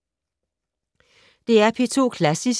DR P2 Klassisk